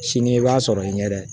Sini i b'a sɔrɔ i ɲɛ dɛ